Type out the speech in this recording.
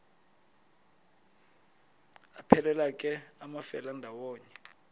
aphelela ke amafelandawonye